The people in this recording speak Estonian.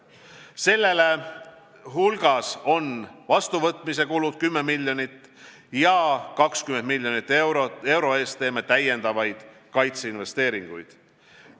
Selle hulgas on liitlaste vastuvõtmise kulud 10 miljonit ja 20 miljoni euro eest teeme täiendavaid kaitseinvesteeringuid.